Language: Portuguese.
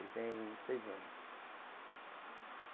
Ele tem seis anos.